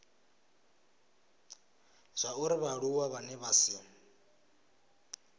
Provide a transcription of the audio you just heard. zwauri vhaaluwa vhane vha si